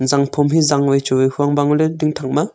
zanphom ehh zangoi huang bangley tingthang ma.